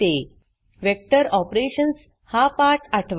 vector operations vector operations हा पाठ आठवा